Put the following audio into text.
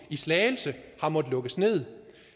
i slagelse har måttet lukkes nederst